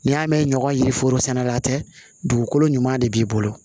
N'i y'a mɛn ɲɔgɔn ye foro sɛnɛla tɛ dugukolo ɲuman de b'i bolo